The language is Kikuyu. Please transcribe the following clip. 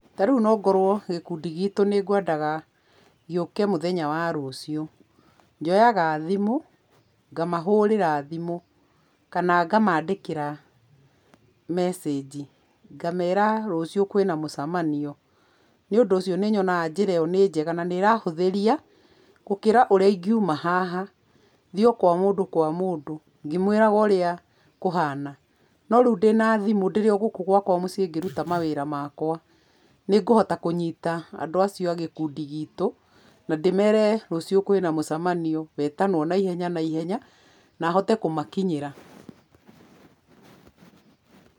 Ta rĩu nongorwo gĩkundi gitũ nĩ ngwendaga gĩũke mũthenya wa rũciũ. Njoyaga thimũ, ngamahũrĩra thimũ, kana ngamaandĩkĩra message. Ngameera rũciũ kwĩna mũcamanio. Nĩũndũ ũcio nĩnyonaga njĩra ĩyo nĩ njega na nĩ ĩrahũthĩria, gũkĩra ũrĩa ingiuma haha, thiĩ o kwa mũndũ kwa mũndũ, ngĩmwĩraga ũrĩa kũhana. No rĩu ndĩna thimũ ndĩrĩ o gũkũ gwakwa mũciĩ ngĩruta mawĩra makwa, nĩ ngũhota kũnyita andũ acio a gĩkundi gitũ, na ndĩmere rũciũ kwĩna mũcamanio wetanwo naihenya naihenya, na hote kũmakinyĩra.